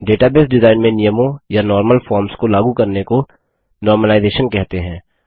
database design में नियमों या नॉर्मल फॉर्म्स को लागू करने को normalizationसामान्यकरण कहते हैं